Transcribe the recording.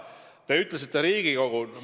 Te viitasite Riigikogule.